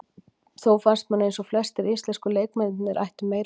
Þó fannst manni eins og flestir íslensku leikmennirnir ættu meira inni.